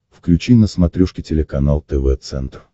включи на смотрешке телеканал тв центр